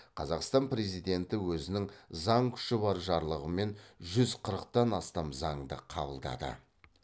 қазақстан президенті өзінің заң күші бар жарлығымен жүз қырықтан астам заңды қабылдады